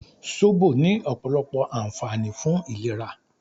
Sóbò ní ọ̀pọ̀lọpọ̀ ànfààní fún ìlera